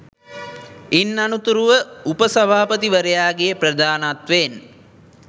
ඉන් අනතුරුව උපසභාපතිවරයාගේ ප්‍රධානත්වයෙන්